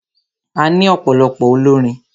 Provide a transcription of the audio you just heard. A ní ọ̀pọ̀lọpọ̀ olórin.